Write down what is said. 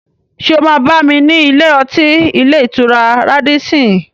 Ṣé o máa bá mi ní ilé-ọtí ilé-ìtura Rádísín-ìn?